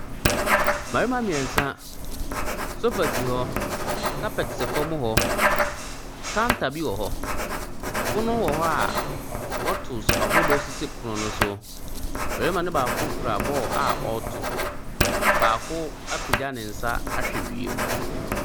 Mmarima mmiɛnsa, sofa si hɔ, kapɛt sɛ fam hɔ. Counter bi wɔ hɔ. Pono wɔ hɔ a bottles ahodoɔ sisi pono no so. Mmarima no baako kura ball a ɔreto. Baako apegya ne nsa ahwɛ wiem.